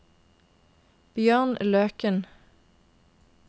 Bjørn Løken